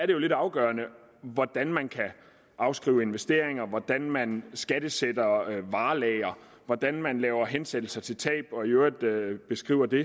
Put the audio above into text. jo lidt afgørende hvordan man kan afskrive investeringer hvordan man skattesætter varelagre hvordan man laver hensættelser til tab og i øvrigt beskriver det